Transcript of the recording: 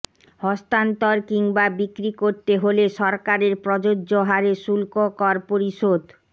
হস্তান্তর কিংবা বিক্রি করতে হলে সরকারের প্রযোজ্য হারে শুল্ক্ককর পরিশোধ